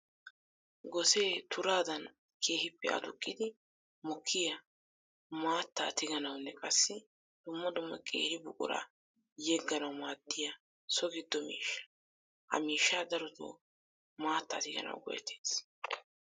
Gosee turaddan keehippe aduqiddi mokkiya maataa tigganawunne qassi dumma dumma qeeri buquratta yegganawu maadiya so gido miishsha. Ha miishsha darotto maata tigganawu go'ettetes.